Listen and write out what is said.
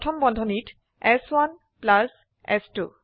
প্রথম বন্ধনীত চ1 প্লাস চ2